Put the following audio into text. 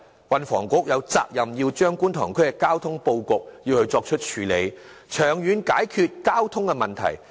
運輸及房屋局有責任調整觀塘區的交通布局，長遠解決交通問題。